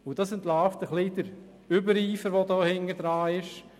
Und das entlarvt den Übereifer, der dahintersteckt: